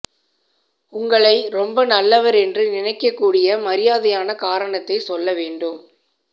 உங்ளை ரொம்ப நல்லவர் என்று நினைக்க கூடிய மாதிரியான காரணத்தை சொல்ல வேண்டும்